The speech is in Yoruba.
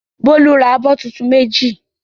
Bólú ra abọ́ tuntun méjì?